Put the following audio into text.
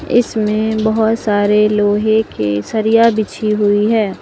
इसमें बहोत सारे लोहे के सरिया बिछी हुई है।